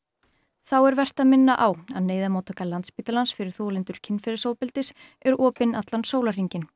þá er vert að minna á að neyðarmóttaka Landspítalans fyrir þolendur kynferðisofbeldis er opin allan sólarhringinn